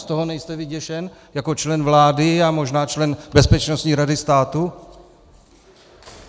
Z toho nejste vyděšen jako člen vlády a možná člen Bezpečnostní rady státu?